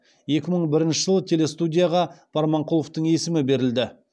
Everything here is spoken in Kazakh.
екі мың бірінші жылы телестудияға барманқұловтың есімі берілді